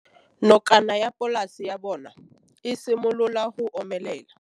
Nokana ya polase ya bona, e simolola go omelela.